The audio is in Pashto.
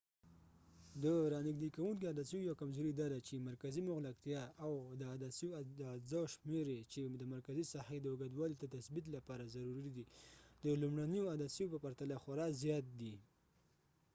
د رانژدې کوونکو عدسیو یو کمزوری داده چی مرکزي مغلقتیا او د عدسیو د اجزاوو شمیر یې چې د مرکزي ساحې د اوږوالي د تثبیت لپاره ضروري دی د لومړنیو عدسیو په پرتله خورا زیات دی